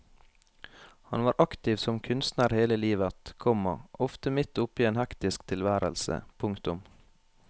Han var aktiv som kunstner hele livet, komma ofte midt oppe i en hektisk tilværelse. punktum